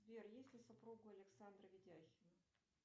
сбер есть ли супруга у александра видяхина